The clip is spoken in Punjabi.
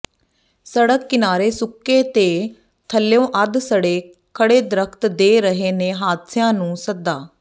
ਸੜਕ ਕਿਨਾਰੇ ਸੁੱਕੇ ਤੇ ਥੱਲਿਓਾ ਅੱਧ ਸੜੇ ਖੜ੍ਹੇ ਦਰਖ਼ਤ ਦੇ ਰਹੇ ਨੇ ਹਾਦਸਿਆਂ ਨੂੰ ਸੱਦਾ